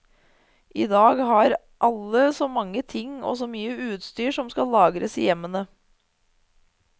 I dag har alle så mange ting og så mye utstyr som skal lagres i hjemmene.